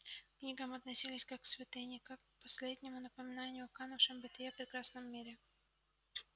к книгам относились как к святыне как к последнему напоминанию о канувшем в небытие прекрасном мире